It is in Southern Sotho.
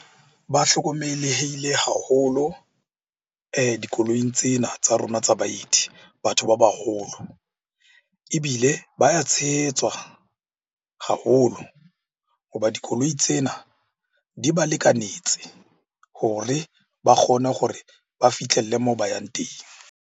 Ba hlokomelehile haholo dikoilong tsena tsa rona tsa baeti batho ba baholo. Ebile ba ya tshehetswa haholo ho ba dikoloi tsena di ba lekanetse hore ba kgone gore ba fihlelle moo ba yang teng.